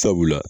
Sabula